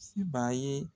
Se b'a ye